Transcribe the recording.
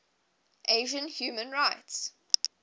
asian human rights